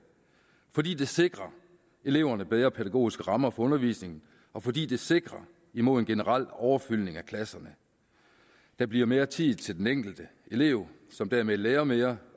fordi det sikrer eleverne bedre pædagogiske rammer for undervisningen og fordi det sikrer mod en generel overfyldning af klasserne der bliver mere tid til den enkelte elev som dermed lærer mere